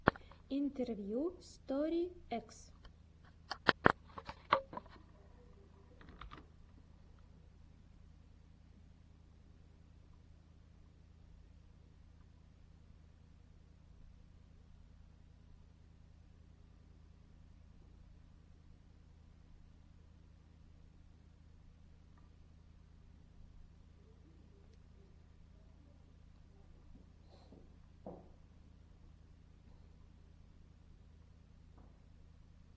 интервью стори экс